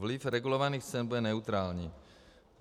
Vliv regulovaných cen bude neutrální.